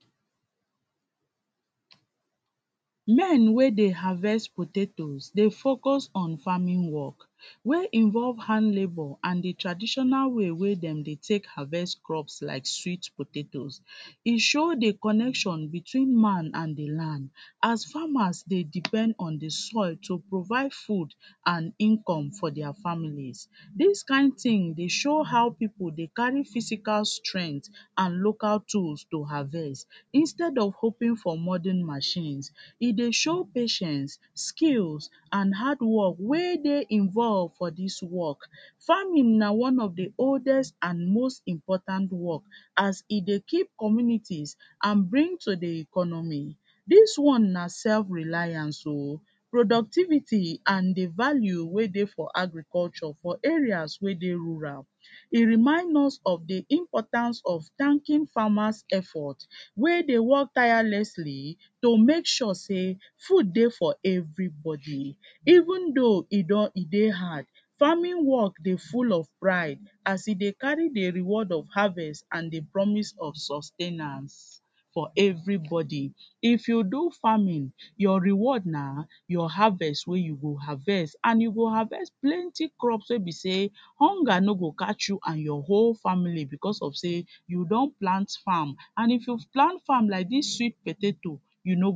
men wey Dey harvest potatoes Dey focus on farming work, wey involve hard labor and the traditional way wey dem Dey take harvest crops like sweet potatoes, e show the connect between man and the land as farmers Dey depend on the soil to provide food and income for dia families, dis kain tin Dey show how pipu Dey carry physical strength and local tools to harvest instead of hoping for modern machines, e Dey show patience, skills and hardwork wey Dey involve for dis work, farming na one of the oldest and most important work as e Dey keep communities and bring to the economy, dis one na self reliance o, productivity and the value wey Dey for agriculture for areas wey Dey rural, e remind us of the importance of thanking farmers efforts wey Dey work tirelessly to make sure say food Dey for everybody even though e don, e Dey hard, farming work Dey full of pride as e Dey carry the reward of harvest and the promise of sustainance for everybody, if you do farming your reward na your harvest wey you go harvest and you go harvest plenty crops wey be say hunger no go catch you and your whole family bcuz of say u don plant farm, and if you plant farm like dis sweet potato, u no go.